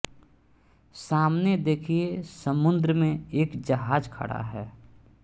सामने देखिए समुद्र में एक जहाज खड़ा है